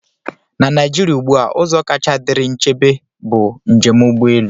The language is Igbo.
Na Naijiria ugbu a, ụzọ kacha dịrị nchebe bụ njem ụgbọ elu.